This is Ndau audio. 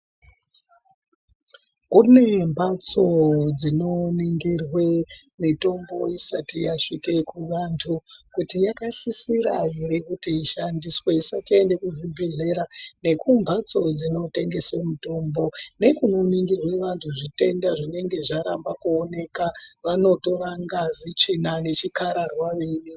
Kune mbatso dzinoningirwe mitombo isati yasvike kuvantu kuti yakasisira ere kushandiswa isati yaenda kuzvibhedhlera nekumbatso dzinotengeswe mitombo nekunoningirwe vanthu zvitenda zvinenga zvaramba kuoneka vanotora ngazi, tsvina nechikhararwa veide...